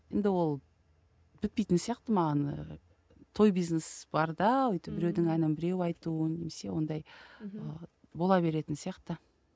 енді ол бітпейтін сияқты маған ыыы той бизнес барда өйтіп біреудің әнін біреу айту немесе ондай ыыы бола беретін сияқты